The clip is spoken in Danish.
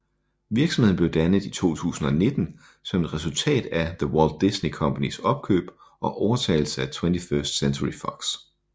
Virksomheden blev dannet i 2019 som et resultat af The Walt Disney Companys opkøb og overtagelse af 21st Century Fox